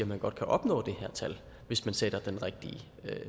man godt kan opnå det her tal hvis man sætter den rigtige